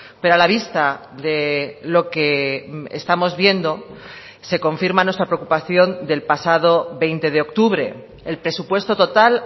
pero a la vista de lo que estamos viendo se confirma nuestra preocupación del pasado veinte de octubre el presupuesto total